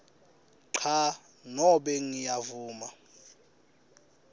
cha nobe ngiyavuma